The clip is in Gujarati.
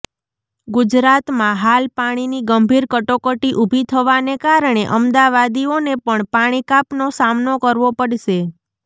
ગુજરાતમાં હાલ પાણીની ગંભીર કટોકટી ઉભી થવાને કારણે અમદાવાદીઓને પણ પાણી કાપનો સામનો કરવો પડશે